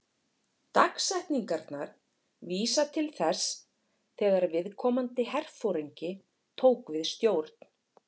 Dagsetningarnar vísa til þess þegar viðkomandi herforingi tók við stjórn.